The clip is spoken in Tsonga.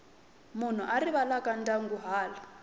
munhu a rivalaka ndyangu hala